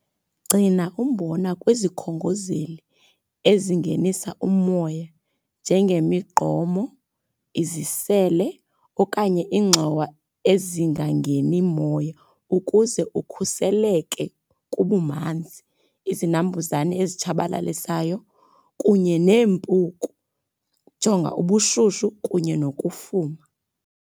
Gcina umbona kwizikhongozeli ezingenisa umoya njengemigqomo, izisele okanye iingxowa ezingangeni moya ukuze ukhuseleke kubumanzi, izinambuzane ezitshabalalisayo kunye neempuku. Jonga ubushushu kunye nokufuma.